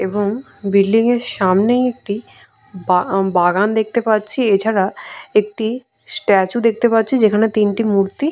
এবং বিল্ডিং এর সামনেই একটি বা বাগান দেখতে পাচ্ছি এছাড়া একটি স্ট্যাচু দেখতে পাচ্ছি যেখানে তিনটি মূর্তি--